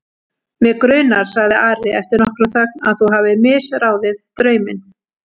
Mig grunar, sagði Ari eftir nokkra þögn,-að þú hafir misráðið drauminn.